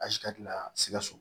Asikitari la sikaso